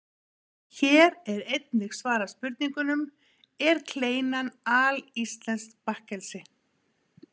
Hér er einnig svarað spurningunum: Er kleinan alíslenskt bakkelsi?